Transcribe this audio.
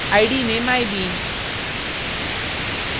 id में mybean